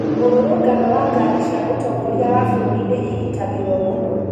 murũrũngano wa ngaari cia mũtongoria wa bururi nĩ ĩgitagirwo muno.